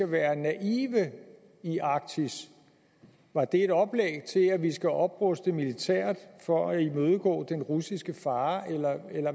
være naive i arktis var det et oplæg til at vi skal opruste militært for at imødegå den russiske fare eller